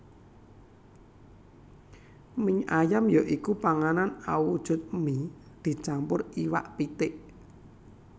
Mie ayam ya iku panganan awujud mie dicampur iwak pitik